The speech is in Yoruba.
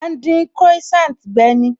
A má ń dín Croissant gbe ni